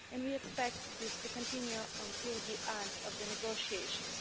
We expect this to continue until the end of the negotiations.